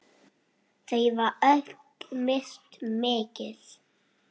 Þau hafa öll misst mikið.